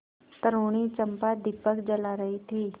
तरूणी चंपा दीपक जला रही थी